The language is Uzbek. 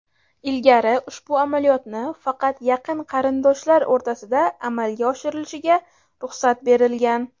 Ilgari ushbu amaliyotni faqat yaqin qarindoshlar o‘rtasida amalga oshirilishiga ruxsat berilgan.